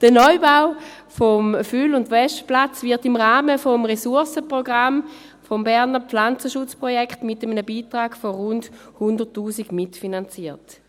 Der Neubau des Füll- und Waschplatzes wird im Rahmen des Ressourcenprogramms des Berner Pflanzenschutzprojekts mit einem Beitrag von rund 100 000 Franken mitfinanziert.